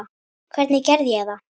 Hvernig gerði ég það?